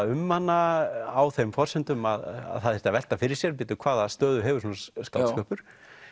um hana á þeim forsendum að það þyrfti að velta fyrir sér bíddu hvaða stöðu hefur svona skáldskapur